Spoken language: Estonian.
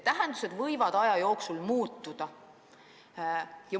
Tähendused võivad aja jooksul muutuda.